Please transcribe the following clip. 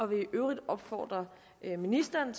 vil i øvrigt opfordre ministeren